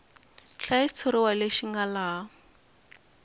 hlaya xitshuriwa lexi nga laha